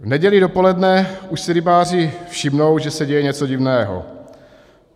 V neděli dopoledne už si rybáři všimnou, že se děje něco divného.